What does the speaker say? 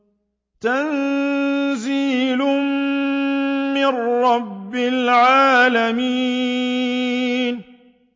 تَنزِيلٌ مِّن رَّبِّ الْعَالَمِينَ